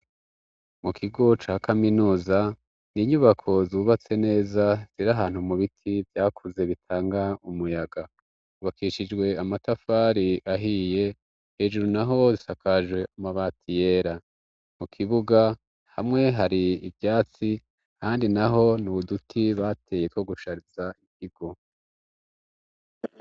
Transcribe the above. Mu kigo ca kaminuza ni inyubako zubatse neza ziri ahantu mu biti vyakuze bitanga umuyaga ubakishijwe amatafari ahiye hejuru naho zisakajwe amabati yera mu kibuga hamwe hari ibyatsi handi naho ni uduti bateye ko gushariza ikigo.